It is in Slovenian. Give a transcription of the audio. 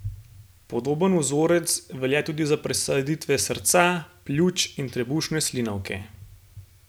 Podoben vzorec velja tudi za presaditve srca, pljuč in trebušne slinavke.